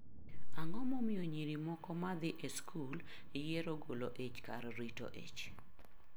Ang'o momiyo nyiri moko ma dhi e skul yiero golo ich kar rito ich?